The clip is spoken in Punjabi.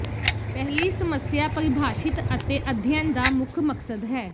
ਪਹਿਲੀ ਸਮੱਸਿਆ ਪਰਿਭਾਸ਼ਿਤ ਅਤੇ ਅਧਿਐਨ ਦਾ ਮੁੱਖ ਮਕਸਦ ਹੈ